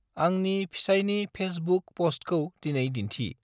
आंनि फेिसायनि फेसबुक फस्टखौ दिनै दिन्थि।